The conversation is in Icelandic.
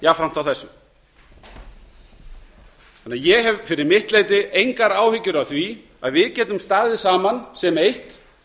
jafnframt á þessu ég hef fyrir mitt leyti engar áhyggjur af því að við getum staðið saman sem eitt